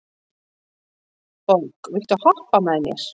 Borg, viltu hoppa með mér?